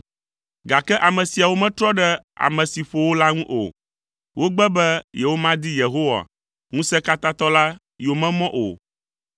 Gake ame siawo metrɔ ɖe ame si ƒo wo la ŋu o, wogbe be yewomadi Yehowa Ŋusẽkatãtɔ la yomemɔ o.